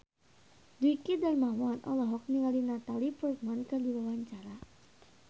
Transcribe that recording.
Dwiki Darmawan olohok ningali Natalie Portman keur diwawancara